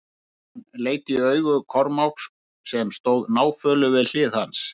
Hann leit í augu Kormáks sem stóð náfölur við hlið hans.